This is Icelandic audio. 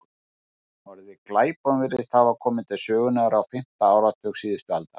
Orðið glæpon virðist hafa komið til sögunnar á fimmta áratug síðustu aldar.